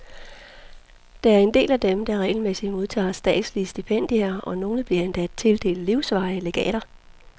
Der er en del af dem, der regelmæssigt modtager statslige stipendier, og nogle bliver endda tildelt livsvarige legater.